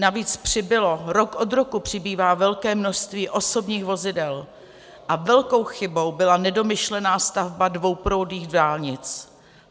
Navíc přibylo, rok od roku přibývá velké množství osobních vozidel a velkou chybou byla nedomyšlená stavba dvouproudových dálnic.